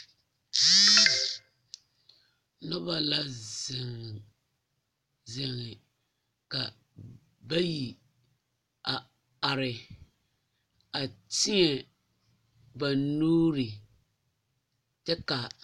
Noba la zeŋ zege ka bayi a are a tēɛba nuuri kyɛ ka.